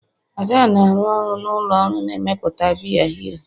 Ada na-arụ ọrụ na ụlọ ọrụ na-emepụta biya hero